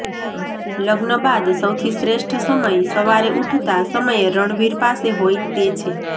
લગ્ન બાદ સૌથી શ્રેષ્ઠ સમય સવારે ઊઠતા સમયે રણવીર પાસે હોય તે છે